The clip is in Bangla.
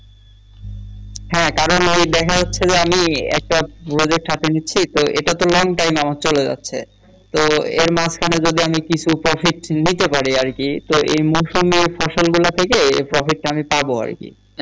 হ্যাঁ কারন এই দেখা যাচ্ছে যে আমি একটা project হাতে নিচ্ছি তো এটাতে long time আমার চলে যাচ্ছে তো এর মাঝ খানে যদি আমি কিছু profit নিতে পারি আরকি তো এ মৌসুমে ফসল গুলো থেকে এই profit টা আমি পাবো আরকি।